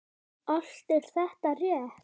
Allt er þetta rétt.